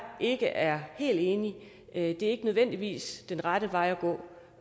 ikke er helt enig i det er ikke nødvendigvis den rette vej at gå